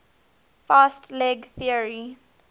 fast leg theory